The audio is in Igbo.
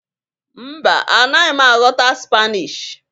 Mba, A naghị m aghọta Spanishi